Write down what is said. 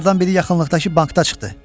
Bunlardan biri yaxınlıqdakı bankda çıxdı.